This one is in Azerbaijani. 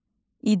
İdarə.